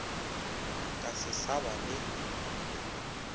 ka se sa ba le